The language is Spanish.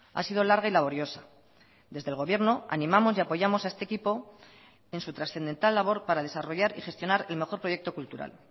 ha sido larga y laboriosa desde el gobierno animamos y apoyamos a este equipo en su trascendental labor para desarrollar y gestionar el mejor proyecto cultural